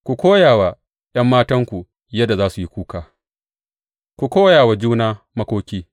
Ku koya wa ’yan matanku yadda za su yi kuka; ku koya wa juna makoki.